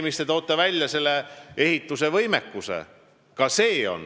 Te tõite välja ehitusvõimekuse.